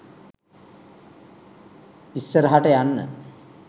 issarahata yanna